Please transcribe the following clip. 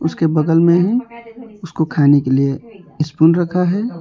उसके बगल में है उसको खाने के लिए स्पून रखा है।